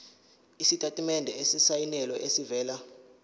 isitatimende esisayinelwe esivela